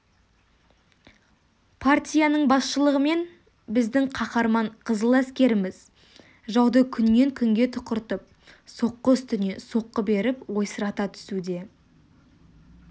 партияның басшылығымен біздің қаһарман қызыл әскеріміз жауды күннен-күнге тұқыртып соққы үстіне соққы беріп ойсырата түсуде